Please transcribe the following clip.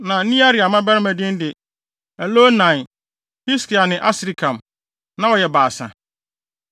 Na Nearia mmabarima din de Elioenai, Hiskia ne Asrikam. Na wɔyɛ baasa.